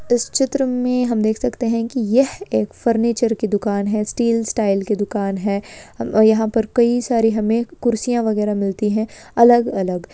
इस चित्र में हम देख सकते हैं कि यह एक फर्नीचर की दुकान है। स्टील स्टाइल की दुकान है। यहां पर कई सारी हमें कुर्सियां वगैरा मिलती है अलग-अलग।